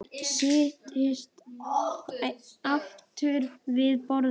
Settist aftur við borðið.